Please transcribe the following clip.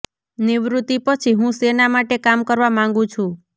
નિવૃતિ પછી હું સેના માટે કામ કરવા માંગુ છું